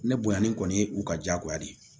Ne bonya ni kɔni ye u ka diyagoya de ye